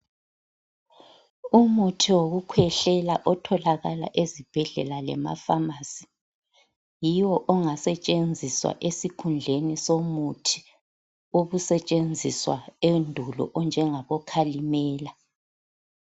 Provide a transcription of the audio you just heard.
Umuthi wokukhwehlela otholakala ezibhedlela lemafamasi yiwo ongasetshenziswa esikhundleni somuthi obusetshenziswa endulo onjengabokhalimela.